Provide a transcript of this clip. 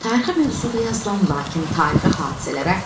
Tarixi mövzuda yazılan, lakin tarixi hadisələrə